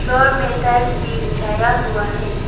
यह में टाइल्स भी बिछाया हुआ है।